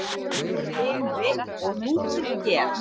Samnöfn bekri og hrútur hér.